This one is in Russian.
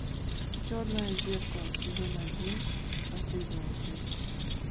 черное зеркало сезон один последняя часть